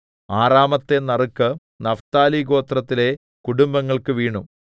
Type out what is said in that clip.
ആറാമത്തെ നറുക്ക് നഫ്താലി ഗോത്രത്തിലെ കുടുംബങ്ങൾക്കു വീണു